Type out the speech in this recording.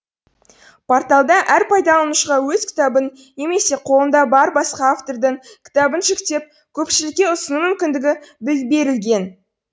порталда әр пайдаланушыға өз кітабын немесе қолында бар басқа автордың кітабын жүктеп көпшілікке ұсыну мүмкіндігі берілген